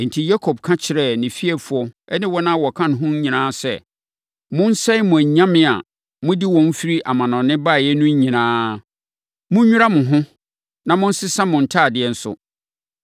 Enti, Yakob ka kyerɛɛ ne fiefoɔ ne wɔn a wɔka ne ho nyinaa sɛ, “Monsɛe mo anyame a mode wɔn firi amanɔne baeɛ no nyinaa. Monwira mo ho, na monsesa mo ntadeɛ nso.”